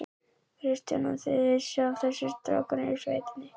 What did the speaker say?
Kristján: Og þið vissuð af þessu, strákarnir í sveitinni?